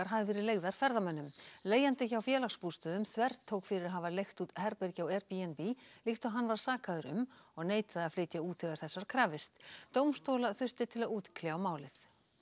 hafi verið leigðar ferðamönnum leigjandi hjá Félagsbústöðum þvertók fyrir að hafa leigt út herbergi á Airbnb líkt og hann var sakaður um og neitaði að flytja út þegar þess var krafist dómstóla þurfti til að útkljá málið